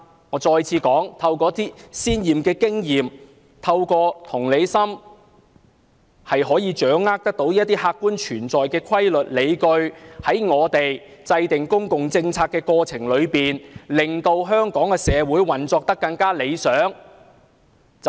我重申，透過一些先前的經驗，透過同理心，我們就能掌握一些客觀的規律和理據，從而在制訂公共政策的過程中令香港社會運作更趨理想。